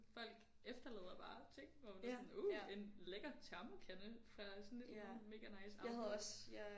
Folk efterlader bare ting hvor man er sådan uh en lækker termokande fandt også sådan et mega nice armbånd